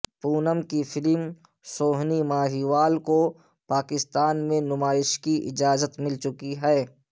پونم کی فلم سوہنی ماہیوال کو پاکستان میں نمائش کی اجازت مل چکی ہے